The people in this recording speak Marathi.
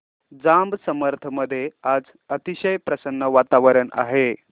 जांब समर्थ मध्ये आज अतिशय प्रसन्न वातावरण आहे